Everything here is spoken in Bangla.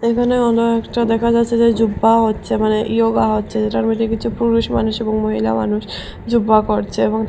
এখানে অনেওকটা দেখা যাচ্ছে যে জুব্বা হচ্ছে এখানে ইয়োগা হচ্ছে যেটার মধ্যে কিছু পুরুষ মানুষ এবং মহিলা মানুষ জুব্বা করছে এবং তা--